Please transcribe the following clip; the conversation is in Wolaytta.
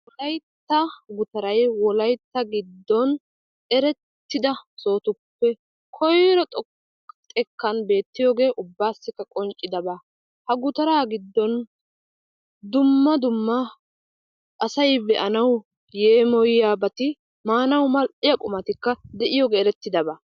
Wolaytta gutaray wolaytta gidon erettida sohotuppe koyro xoqqa xekkan beettiyogee ubbasikka qonccidaba. Ha gutara giddon dumma dumma asay be'anawu yeemoyibati maanawu mal''iya qummatikka de'iyogee erettidaba.